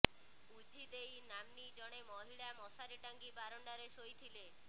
ଉଝି ଦେଇ ନାମ୍ନୀ ଜଣେ ମହିଳା ମଶାରୀ ଟାଙ୍ଗି ବାରଣ୍ଡାରେ ଶୋଇଥିଲେ